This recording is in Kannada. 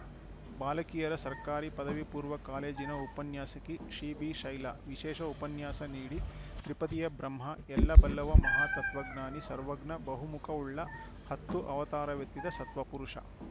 ಬಾಲಕಿಯರ ಸರ್ಕಾರಿ ಪದವಿ ಪೂರ್ವ ಕಾಲೇಜಿನ ಉಪನ್ಯಾಸಕಿ ಸಿಬಿಶೈಲಾ ವಿಶೇಷ ಉಪನ್ಯಾಸ ನೀಡಿ ತ್ರಿಪದಿಯ ಬ್ರಹ್ಮ ಎಲ್ಲ ಬಲ್ಲವ ಮಹಾತತ್ವಜ್ಞಾನಿ ಸರ್ವಜ್ಞ ಬಹುಮುಖವುಳ್ಳ ಹತ್ತು ಅವತಾರವೆತ್ತಿದ ಸತ್ಪುರುಷ